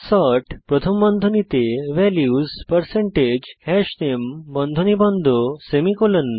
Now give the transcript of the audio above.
sort প্রথম বন্ধনীতে values হাশনামে বন্ধনী বন্ধ সেমিকোলন